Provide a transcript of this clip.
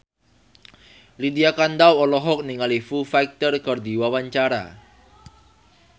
Lydia Kandou olohok ningali Foo Fighter keur diwawancara